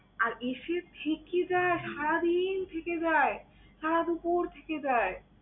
আর এসে থেকে যায়, সারাদিন থেকে যায়, সারাদুপুর থেকে যায়।